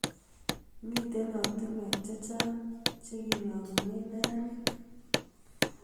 Mitei ortinwek chechang chekilongune neranik